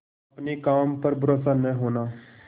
अपने काम पर भरोसा न होना